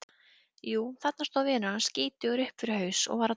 Jú, þarna stóð vinur hans, skítugur upp fyrir haus og var að dorga.